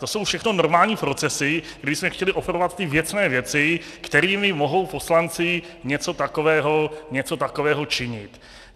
To jsou všechno normální procesy, kdybychom chtěli opravovat ty věcné věci, kterými mohou poslanci něco takového činit.